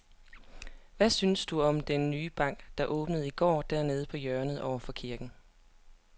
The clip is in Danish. Hvad synes du om den nye bank, der åbnede i går dernede på hjørnet over for kirken?